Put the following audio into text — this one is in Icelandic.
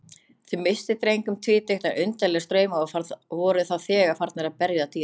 Þau misstu dreng um tvítugt, en undarlegir straumar voru þá þegar farnir að berja dyra.